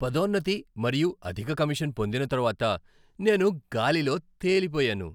పదోన్నతి మరియు అధిక కమిషన్ పొందిన తరువాత, నేను గాలిలో తేలిపోయాను.